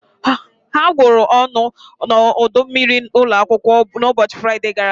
Ha gwuru ọnụ n'ọdọ mmiri ụlọ akwụkwọ n'ụbọchị Fraịde gara aga.